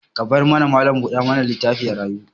Ka bar mallam buɗa mana litaffin ya rayu.